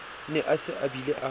ne a se abile a